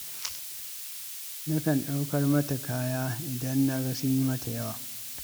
Nakan ɗaukar mata kaya idan na ga sun yi mata yawa.